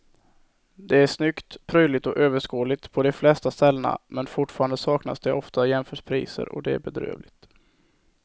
Det är snyggt, prydligt och överskådligt på de flesta ställena men fortfarande saknas det ofta jämförpriser och det är bedrövligt.